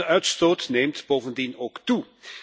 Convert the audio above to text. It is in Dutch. De uitstoot neemt bovendien ook toe.